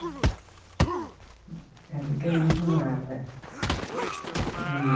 É ali que a gente morava que